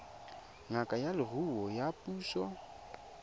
ngaka ya leruo ya puso